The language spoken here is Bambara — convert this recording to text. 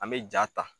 An bɛ ja ta